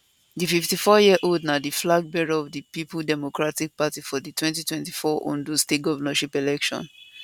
di 54yearold na di flag bearer of di peoples democratic party for di 2024 ondo state governorship election